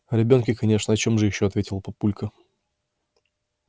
о ребёнке конечно о чем же ещё ответил папулька